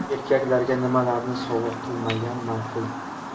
Erkaklarga nimalarni sovg‘a qilmagan ma’qul?.